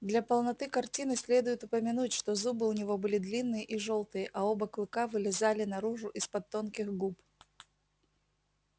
для полноты картины следует упомянуть что зубы у него были длинные и жёлтые а оба клыка вылезали наружу из под тонких губ